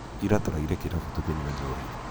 ira tũraire kĩrabu tũkĩnyua njohi